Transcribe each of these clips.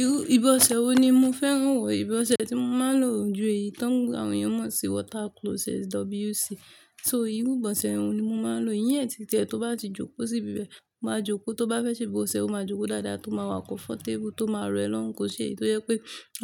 Irú, ìbọ̀sẹ̀ wo ni mo fẹ́ràn wò? Ìbọ̀sẹ̀ tí mo máa ń lò ju èyí tán, àwọn èèyàn mọ̀ sí water closet, WC. So irú ìbọ̀sẹ̀ wo ni mo máa ń lò? Iyẹn títẹ, tó bá ti jókòó sí ibẹ̀, máa jókòó, tó bá fẹ́ ṣe ìbọ̀sẹ̀, ó máa jókòó dáadáa, tó máa wà kọ́ fọ́ntébùl, tó máa rẹ lọ́hùn, kò ṣe é tó jẹ́ pé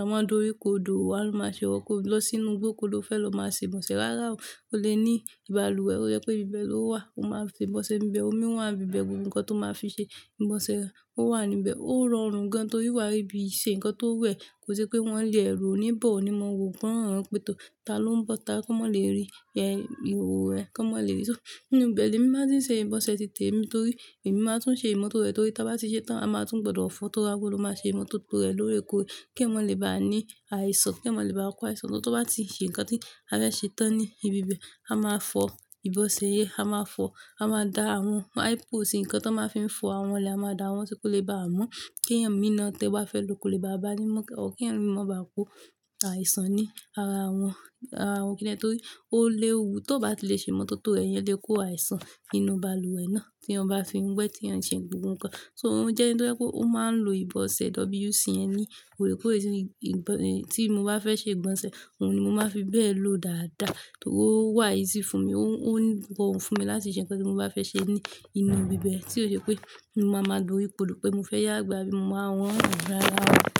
àwọn dúró kó dùn wá ló máa ṣe wọ́kọ̀ lọ sínú gbóko ló fẹ́ lọ máa ṣe ìbọ̀sẹ̀. Rárá o, ó lè ní ìbàlùwẹ̀, ó jẹ́ pé ibẹ̀ ló wà, ó máa fi ìbọ̀sẹ̀ níbẹ̀, omi wà ní ibẹ̀ gbogbo nǹkan tó máa fi ṣe ìbọ̀sẹ̀, ó wà níbẹ̀. Ó rọrùn gan torí wà níbi ṣe nǹkan tó wù ẹ́, kò ṣe pé wọ́n lè ro níbọ̀ ni mo wò gbóòórùn pé tó, ta ló ń bọ́ta kọ́, má le rí ẹ, ìhòhò ẹ, kọ́ má le rí. So nínú ibẹ̀ ni mí máa tún ṣe ìbọ̀sẹ̀ títẹ mi torí èmi máa tún ṣe ìmú tó rẹ torí tí a bá ti ṣe tán, a máa tún gbọdọ̀ fọ tó rako ló máa ṣe ìmú tó tó rẹ lórí epo. Kí ẹ mọ́ lè bá ní àìsàn, kí ẹ mọ́ lè bá ọ kó àìsàn lọ tó bá ti ṣe nǹkan tí a fẹ́ ṣe tán ní ibi ìbẹ̀. A máa fọ ìbọ̀sẹ̀ yí, a máa fọ, a máa da àwọn, àwọn ẹ̀pù sì nǹkan tó máa fi ń fọ àwọn lè, a máa da wọ́n sókè lè bá a mú kí ẹmí náà tí ó bá fẹ́ lo kò lè bá a bá a ní mú ọkùnrin, kí ẹmí mọ̀ bá kó àìsàn ní ara wọn, ara wọn kíni ẹ torí ó lè wú tó bá ti lè ṣe ìmú tó tó rẹ̀ yẹn lè kó àìsàn nínú balùwẹ̀ náà tí wọ́n bá fi ń gbẹ́ tí wọ́n ṣe gbogbo nǹkan. So òun jẹ́ ẹni tó jẹ́ o mó máa ń lo ìbọ̀sẹ̀ WC yẹn ni orí epo. Ẹ̀sìn ìbọn, eh, tí mo bá fẹ́ ṣe ìbọnṣẹ̀, òun ni mo máa fi bẹ̀ lọ dáadáa torí ó wà yìí sí fún mi, ó, ó ń rọrùn fún mi láti ṣe nǹkan tí mo bá fẹ́ ṣe ní inú ibi bẹ̀ tí ó ṣe pé mo máa ma dori kodo pé mo fẹ́ yá gbe bí mo máa wọn rárá.